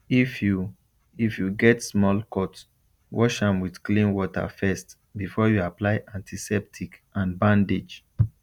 if you if you get small cut wash am with clean water first before you apply antiseptic and bandage